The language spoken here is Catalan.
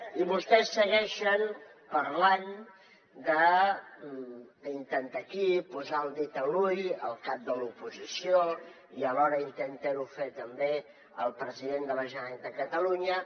i vostès segueixen parlant d’intentar aquí posar el dit a l’ull al cap de l’oposició i alhora intentar ho fer també al president de la generalitat de catalunya